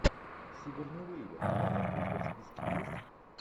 сигурни уивер кинолента у тебя в списке есть